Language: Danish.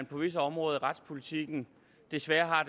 på visse områder i retspolitikken desværre